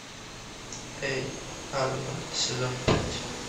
эй арнольд сезон пять